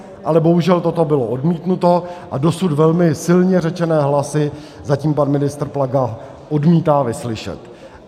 Ale bohužel toto bylo odmítnuto a dosud velmi silně řečené hlasy zatím pan ministr Plaga odmítá vyslyšet.